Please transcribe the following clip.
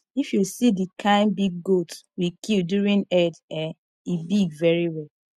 if you see the kin big goat we kill during eid eh e big very well